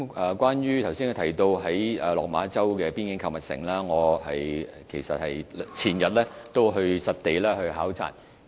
有關他剛才提到的落馬洲邊境購物城，我前天亦曾作實地考察。